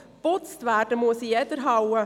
Geputzt werden muss jede Halle.